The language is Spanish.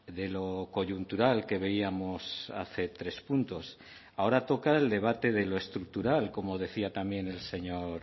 de lo coyuntural que veíamos hace tres puntos ahora toca el debate de lo estructural como decía también el señor